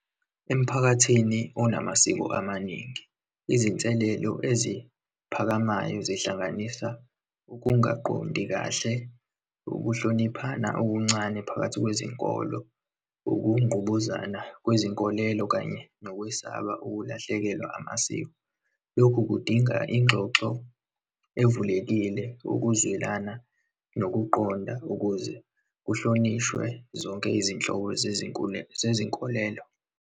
Emphakathini onamasiko amaningi, izinselelo eziphakamayo zihlanganisa, ukungaqondi kahle, ukuhloniphana okuncane phakathi kwezinkolo, ukungqubuzana kwezinkolelo, kanye nokwesaba ukulahlekelwa amasiko. Lokhu kudinga ingxoxo evulekile, ukuzwelana, nokuqonda ukuze kuhlonishwe zonke izinhlobo zezinkolelo.